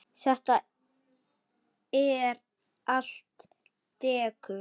Þetta er allt dekur.